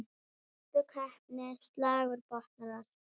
Sérstök heppni, slagur botnar allt.